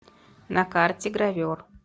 на карте гравер